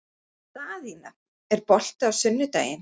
Daðína, er bolti á sunnudaginn?